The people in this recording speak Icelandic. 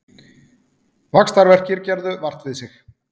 Vaxtarverkir gerðu vart við sig